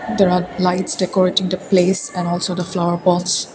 there are lights decorated place and also a flower pots.